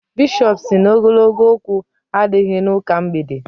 Bishọp sị na ogologo okwu adịghị n'ụka mgbede.